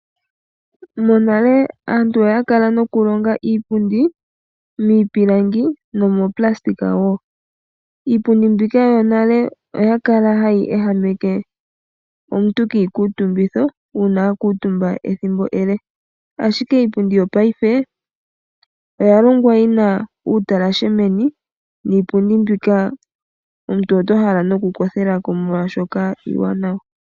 Monale aantu oya kala nokulonga iipundi miipilangi. Iipundi mbika yonale oya kala hayi ehameke omuntu kiikutumbitho uuna aakutumba ethimbo ele ,ashike iipundi yopaife oya longwa yina uutalashe meni niipundi mbika omuntu oto hala noku kothelako molwaashoka iiwanawa.